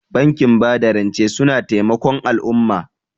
Bankin bada rance suna taimakon al'umma.